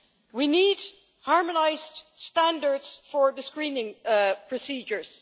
We need harmonised standards for the screening procedures.